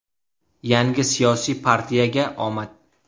Yangi siyosiy partiyaga omad!